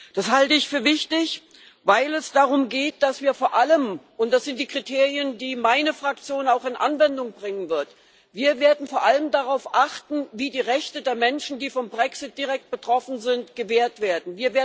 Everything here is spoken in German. Das halte ich für wichtig, weil es darum geht, dass wir vor allem und das sind die Kriterien, die meine Fraktion auch in Anwendung bringen wird darauf achten, wie die Rechte der Menschen, die vom Brexit direkt betroffen sind, gewahrt werden.